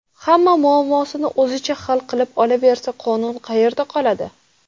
Hamma muammosini o‘zicha hal qilib olaversa, qonun qayerda qoladi?